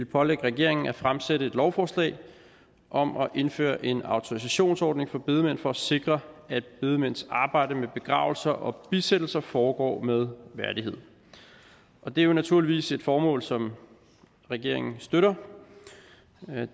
pålægge regeringen at fremsætte et lovforslag om at indføre en autorisationsordning for bedemænd for at sikre at bedemænds arbejde med begravelser og bisættelser foregår med værdighed det er naturligvis et formål som regeringen støtter